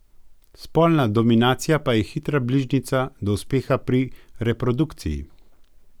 Spolna dominacija pa je hitra bližnjica do uspeha pri reprodukciji.